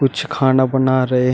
कुछ खाना बना रहे हैं।